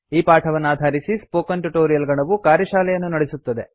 ಈ ಪಾಠವನ್ನಾಧಾರಿಸಿ spoken tutorial ಗಣವು ಕಾರ್ಯಶಾಲೆಯನ್ನು ನಡೆಸುತ್ತದೆ